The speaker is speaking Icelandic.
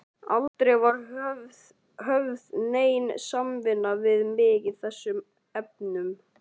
Aldrei var höfð nein samvinna við mig í þessum efnum.